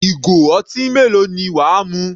Ìgò ọtí mélòó ni wà á mu?